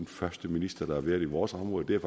første minister der har været i vores område det er